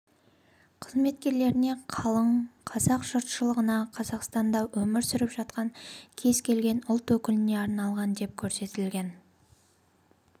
қызметкерлеріне қалың қазақ жұртшылығына қазақстанда өмір сүріп жатқан кез келген ұлт өкіліне арналған деп көрсетілген